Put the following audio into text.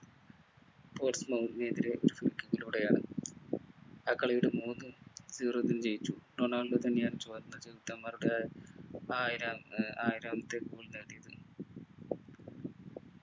എതിരെ ലൂടെയാണ് ആ കളിയുടെ മൂന്നു zero ൽ ജയിച്ചു റൊണാൾഡോ തന്നെയാണ് ചുവന്ന ചെകുത്താൻമാരുടെ ആയിരം ഏർ ആയിരാമത്തെ goal നേടിയത്